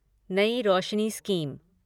New Roshni scheme